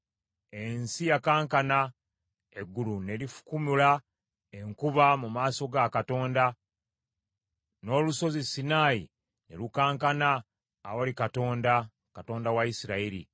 ensi yakankana, eggulu ne lifukumula enkuba mu maaso ga Katonda; n’olusozi Sinaayi ne lukankana awali Katonda, Katonda wa Isirayiri!